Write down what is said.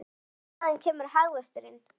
En hvaðan kemur hagvöxturinn?